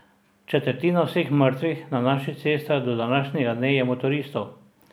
Četrtina vseh mrtvih na naših cestah do današnjega dne je motoristov!